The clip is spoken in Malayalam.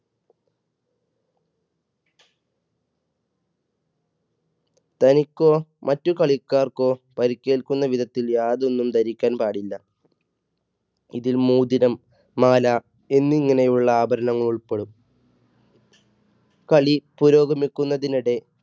തനിക്കോ മറ്റ് കളിക്കാർക്കോ പരിക്കേൽക്കുന്ന വിധത്തിൽ യാതൊന്നും ധരിക്കാൻ പാടില്ല. ഇതിൽ മോതിരം, മാല, എന്നിങ്ങനെയുള്ള ആഭരണങ്ങൾ ഉൾപ്പെടും കളി പുരോഗമിക്കുന്നതിനിടെ